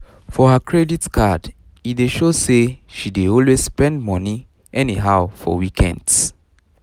for her credit card e dey show say she dey always spend money anyhow for weekends